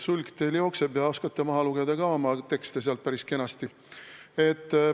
Sulg teil jookseb ja te oskate oma tekste maha lugeda ka päris kenasti.